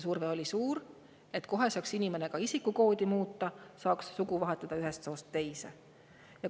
Surve oli suur, et kohe saaks inimene ka isikukoodi muuta ja saaks sugu vahetada ühest soost teise.